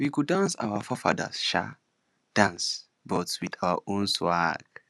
we go dance our forefathers um dance but with our own swag